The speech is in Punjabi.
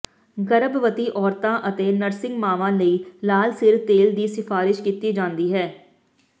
ਗਰਭਵਤੀ ਔਰਤਾਂ ਅਤੇ ਨਰਸਿੰਗ ਮਾਵਾਂ ਲਈ ਲਾਲ ਸਿਰ ਤੇਲ ਦੀ ਸਿਫਾਰਸ਼ ਕੀਤੀ ਜਾਂਦੀ ਹੈ